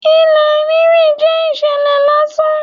Ilẹ̀ rírú jẹ́ ìṣẹ̀lẹ̀ lásán.